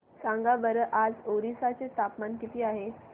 सांगा बरं आज ओरिसा चे तापमान किती आहे